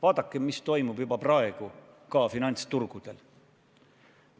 Vaadake, mis toimub juba praegu finantsturgudel!